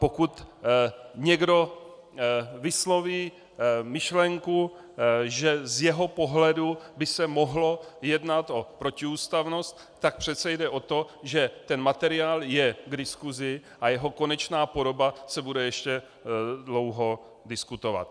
Pokud někdo vysloví myšlenku, že z jeho pohledu by se mohlo jednat o protiústavnost, tak přece jde o to, že ten materiál je k diskusi a jeho konečná podoba se bude ještě dlouho diskutovat.